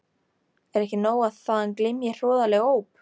Er ekki nóg að þaðan glymji hroðaleg óp?